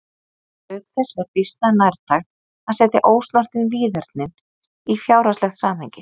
auk þess er býsna nærtækt að setja ósnortin víðernin í fjárhagslegt samhengi